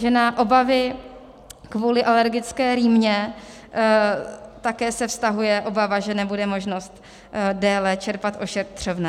Že na obavy kvůli alergické rýmě také se vztahuje obava, že nebude možnost déle čerpat ošetřovné.